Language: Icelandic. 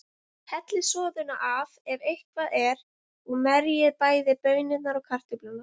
Hellið soðinu af, ef eitthvað er, og merjið bæði baunirnar og kartöflurnar.